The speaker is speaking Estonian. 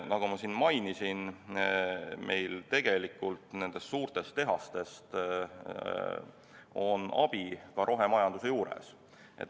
Nagu ma siin mainisin, meil on nendest suurtest tehastest tegelikult abi ka rohemajanduses.